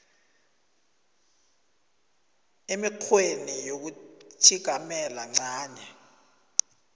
emikghweni yokutjhigamela ncanye